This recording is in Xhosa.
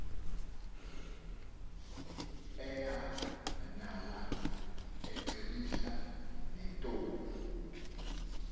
eyalana ecebisa neentombi